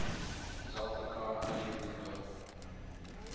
zulfikar ali bhutto